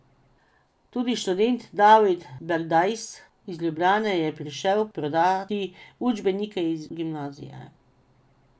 Tudi študent David Berdajs iz Ljubljane je prišel prodati učbenike iz gimnazije.